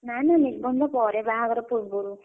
ନା ନା ନିର୍ବନ୍ଧ ପରେ ବାହାଘର ପୂର୍ବରୁ।